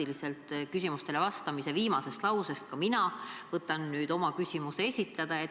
Just teie vastamise praktiliselt viimasest lausest võtan mina nüüd kinni, et oma küsimus esitada.